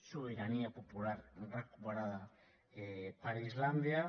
sobirania popular recuperada per islàndia